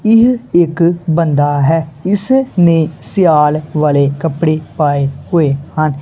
ਇਹ ਇੱਕ ਬੰਦਾ ਹੈ ਇਸ ਨੇ ਸਿਆਲ ਵਾਲੇ ਕੱਪੜੇ ਪਾਏ ਹੋਏ ਹਨ।